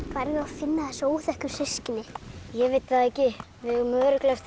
finna þessi óþekku systkini ég veit það ekki við eigum örugglega eftir